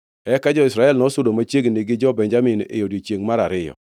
Eka jo-Israel nosudo machiegni gi jo-Benjamin e odiechiengʼ mar ariyo.